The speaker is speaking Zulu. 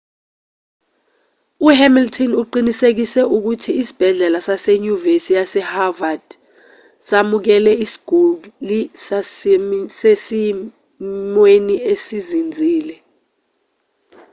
uhamilton uqinisekise ukuthi isibhedlela sasenyuvesi yasehoward samukele isiguli sisesimweni esizinzile